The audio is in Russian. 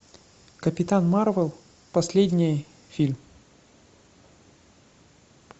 капитан марвел последний фильм